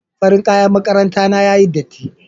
Farin kaƴan maƙaranta na yaƴi ɗatti.